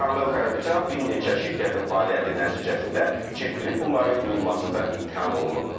Samvel Karapetyan bir neçə şirkətin fəaliyyəti nəticəsində çirkli pulların yuyulmasında ittiham olunub.